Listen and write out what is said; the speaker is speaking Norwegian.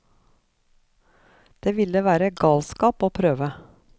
Det ville være galskap å prøve.